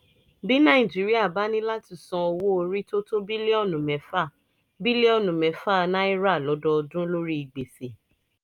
bí nàìjíríà bá ní láti san owó orí tó tó bílíọ̀nù mẹ́fà bílíọ̀nù mẹ́fà náírà lọ́dọọdún lórí gbèsè